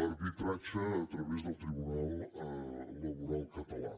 l’arbitratge a través del tribunal laboral català